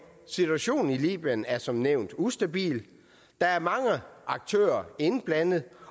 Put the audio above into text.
situationen i libyen er som nævnt ustabil der er mange aktører indblandet